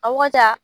A wagati